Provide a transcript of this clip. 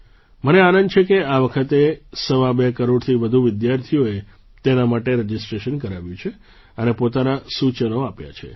મને આનંદ છે કે આ વખતે સવા બે કરોડથી વધુ વિદ્યાર્થીઓએ તેના માટે રજિસ્ટ્રેશન કરાવ્યું છે અને પોતાનાં સૂચનો આપ્યાં છે